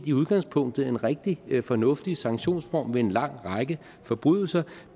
i udgangspunktet en rigtig fornuftig sanktionsform ved en lang række forbrydelser